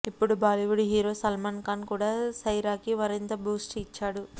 ఇప్పుడు బాలీవుడ్ హీరో సల్మాన్ ఖాన్ కూడా సైరాకి మరింత బూస్ట్ ఇచ్చాడు